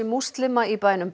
múslima í bænum